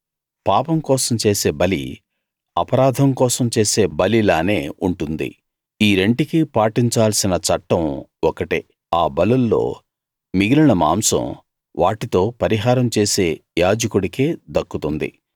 పాపం కోసం చేసే బలి అపరాధం కోసం చేసే బలిలానే ఉంటుంది ఈ రెంటికీ పాటించాల్సిన చట్టం ఒకటే ఆ బలుల్లో మిగిలిన మాంసం వాటితో పరిహారం చేసే యాజకుడికే దక్కుతుంది